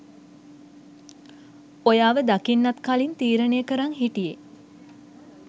ඔයාව දකින්නත් කලින් තීරණය කරන් හිටියෙ.